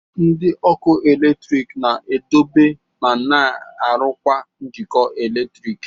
Ndị ọkụ eletrik na-edobe ma na-arụkwa njikọ eletrik